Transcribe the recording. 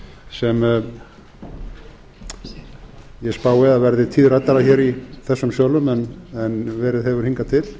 sem ég spái að verði tíðræddara hér í þessum sölum en verið hefur hingað til